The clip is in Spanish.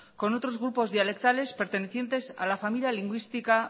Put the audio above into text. con otros grupos dialectales pertenecientes a la familia lingüística